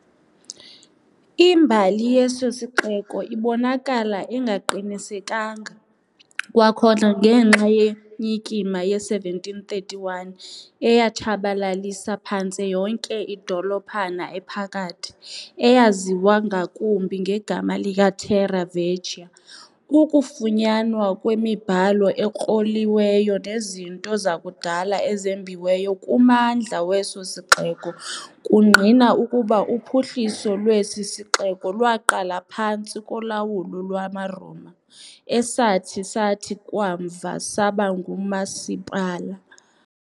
Imbali yeso sixeko ibonakala ingaqinisekanga, kwakhona ngenxa yenyikima ye-1731 eyatshabalalisa phantse yonke idolophana ephakathi, eyaziwa ngakumbi ngegama likaTerra Vecchia, ukufunyanwa kwemibhalo ekroliweyo nezinto zakudala ezembiweyo kummandla weso sixeko kungqina ukuba uphuhliso lwesi sixeko lwaqala phantsi kolawulo lwamaRoma, esathi sathi kamva saba "ngumasipala" .